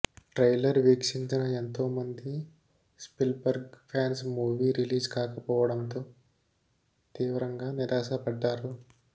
trailer వీక్షించిన ఎంతోమంది Spielberg fans movie release కాకపోవడంతో తీవ్రంగా నిరాశపడ్డారు